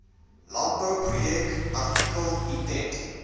landbouproduk artikel item